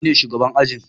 Nine shugabar ajin.